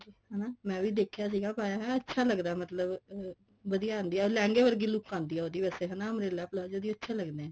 ਹਨਾ ਮੈਂ ਵੀ ਦੇਖਿਆ ਸੀ ਪਾਇਆ ਹੋਇਆ ਅੱਛਾ ਲੱਗਦਾ ਮਤਲਬ ਵਧੀਆ ਆਂਡੀ ਹੈ ਲਹਿੰਗੇ ਵਰਗੀ look ਆਉਂਦੀ ਐ ਉਹਦੀ ਵੈਸੇ ਹਨਾ umbrella palazzo ਦੀ ਅੱਛੇ ਲੱਗਦੇ ਐ